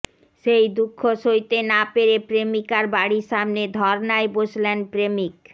সেই দুঃখ সইতে না পেরে প্রেমিকার বাড়ির সামনে ধরনায় বসলেন প্রেমিক